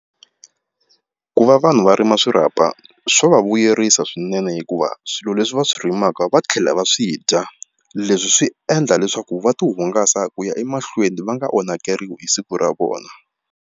Ku va vanhu va rima swirhapa swa va vuyerisa swinene hikuva swilo leswi va swi rimaka va tlhela va swi dya leswi swi endla leswaku va ti hungasa ku ya emahlweni va nga onhakeriwi hi siku ra vona.